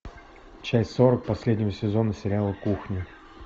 часть сорок последнего сезона сериала кухня